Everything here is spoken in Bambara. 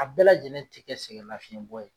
A bɛɛ lajɛlen ti kɛ sɛgɛn lafiyɛn bɔ ye